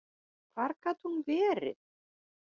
Hvar gat hún verið?